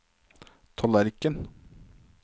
tallerken